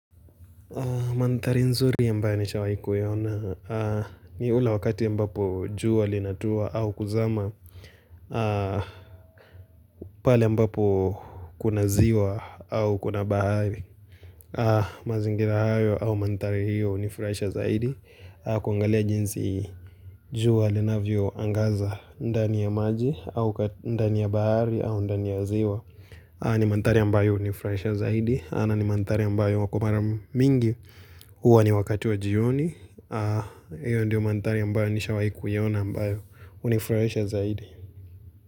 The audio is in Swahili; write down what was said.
Manthari nzuri ambaye nishawai kuiona ni ule wakati ambapo jua linatua au kuzama pale ambapo kuna ziwa au kuna bahari mazingira hayo au manthari hiyo hunifurahisha zaidi kuangalia jinsi jua linavyo angaza ndani ya maji au ndani ya bahari au ndani ya ziwa ni manthari ambayo hunifurahisha zaidi na ni manthari ambayo kwa mara mingi hUwa ni wakati wa jioni hiyo ndiyo manthari ambayo nishawahi kuiona ambayo hunifurahisha zaidi.